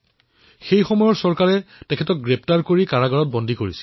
সেইসময়ৰ চৰকাৰে তেওঁক গ্ৰেপ্তাৰ কৰি কাৰাবাসলৈ প্ৰেৰণ কৰিলে